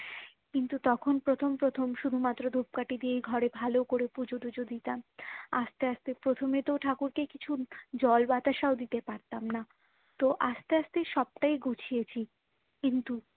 কিন্তু তখন প্রথম প্রথম শুধুমাত্র ধূপকাঠি দিয়েই ঘরে ভালো করে পুজোটুজো দিতাম আস্তে আস্তে প্রথমে তো ঠাকুর কে কিছু জল বাতাসও দিতে পারতাম না তো আস্তে আস্তে সবটাই গুছিয়েছি কিন্তু